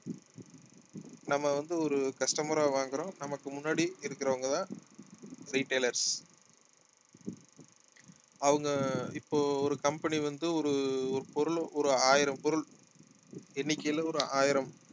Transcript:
நம்ம வந்து ஒரு customer ஆ வாங்குறோம் நமக்கு முன்னாடி இருக்கிறவங்கதான் retailers அவங்க இப்போ ஒரு company வந்து ஒரு ஒரு பொருள் ஒரு ஆயிரம் பொருள் எண்ணிக்கையில ஒரு ஆயிரம்